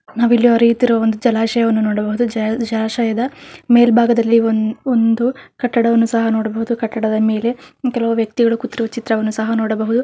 ನಾವಿಲ್ಲಿ ಹರಿಯುತ್ತಿರುವ ಒಂದು ಜಲಾಶಯವನ್ನು ನೋಡಬಹುದು ಜ -ಜಲಾಶಯದ ಮೇಲ್ಬಾಗದಲ್ಲಿ ಒನ್ -ಒಂದು ಕಟ್ಟಡವನ್ನು ಸಹ ನೋಡಬಹುದು ಕಟ್ಟಡದ ಮೇಲೆ ಕೆಲವು ವ್ಯಕ್ತಿಗಳು ಕೂತಿರುವ ಚಿತ್ರವನ್ನು ಸಹ ನೋಡಬಹುದು.